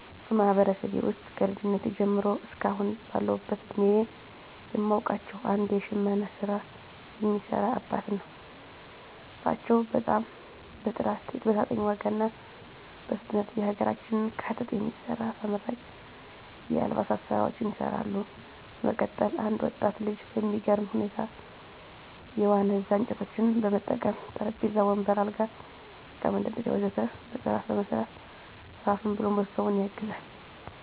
በማህበረሰቤ ውስጥ ከልጅነቴ ጀምሮ እስከ አሁን ባለሁበት እድሜየ የማውቃቸው አንድ የሽመና ስራ የሚሰሩ አባትን ነው። እሳቸው በጣም በጥራት በተመጣጣኝ ዋጋ እና በፍጥነት የሀገራችንን ከጥጥ የሚሰራ ተመራጭ የአልባሳት ስራዎችን ይሰራሉ። በመቀጠል አንድ ወጣት ልጅ በሚገርም ሁኔታ የዋነዛ እንጨቶችን በመጠቀም ጠረጴዛ፣ ወንበር፣ አልጋ፣ የእቃ መደርደሪያ ወ.ዘ.ተ በጥራት በመስራት ራሱን ብሎም ቤተሰቡን ያግዛል።